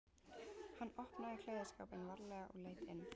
Hann opnaði klæðaskápinn varlega og leit inn.